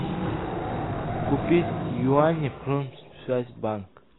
купить юани промсвязьбанк